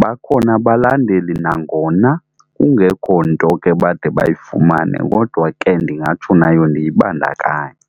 bakhona abalandeli nangona kungekho nto ke bade bayifumane kodwa ke ndingatsho nayo ndiyibandakanye.